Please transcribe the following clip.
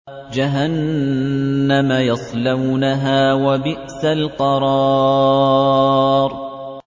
جَهَنَّمَ يَصْلَوْنَهَا ۖ وَبِئْسَ الْقَرَارُ